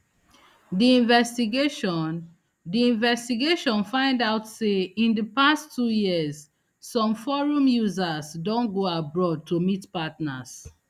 di investigation di investigation find out say in di past two years some forum users don go abroad to meet partners